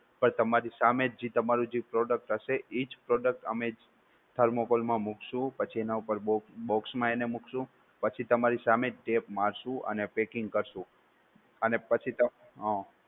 પણ તમારી સામે જી તમારૂ જે product હશે ઈજ product અમે thermocol મા મુકશું પછી એના ઉપર box મા એને મુકશું પછી તમારી સામેજ tape મારશું અને packing કરશું અને પછી. હમ